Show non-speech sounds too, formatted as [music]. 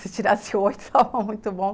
[laughs] Se tirasse oito, estava muito bom.